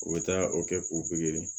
U bɛ taa o kɛ k'u pikiri